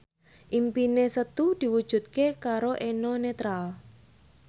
impine Setu diwujudke karo Eno Netral